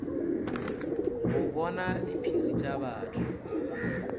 go bona diphiri tša batho